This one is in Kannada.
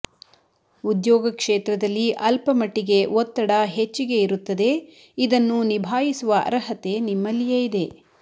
ಉದ್ಯೋಗ ಕ್ಷೇತ್ರದಲ್ಲಿ ಅಲ್ಪ ಮಟ್ಟಿಗೆ ಒತ್ತಡ ಹೆಚ್ಚಿಗೆ ಇರುತ್ತದೆ ಇದನ್ನು ನಿಭಾಯಿಸುವ ಅರ್ಹತೆ ನಿಮ್ಮಲಿಯೇ ಇದೆ